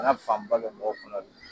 Bana fanba bɛ mɔgɔ kɔnɔ de la.